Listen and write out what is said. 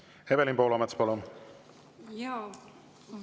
Evelin Poolamets, palun!